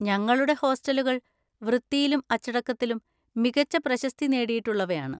ഞങ്ങളുടെ ഹോസ്റ്റലുകൾ വൃത്തിയിലും അച്ചടക്കത്തിലും മികച്ച പ്രശസ്തി നേടിയിട്ടുള്ളവയാണ്.